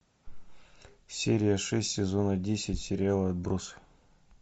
серия шесть сезона десять сериала отбросы